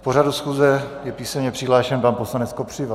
K pořadu schůze je písemně přihlášen pan poslanec Kopřiva.